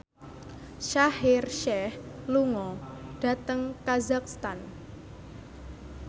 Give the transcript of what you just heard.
Shaheer Sheikh lunga dhateng kazakhstan